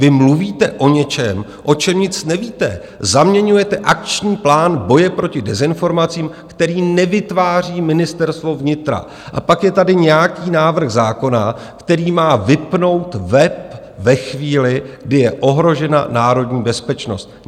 Vy mluvíte o něčem, o čem nic nevíte, zaměňujete Akční plán boje proti dezinformacím, který nevytváří Ministerstvo vnitra, a pak je tady nějaký návrh zákona, který má vypnout web ve chvíli, kdy je ohrožena národní bezpečnost.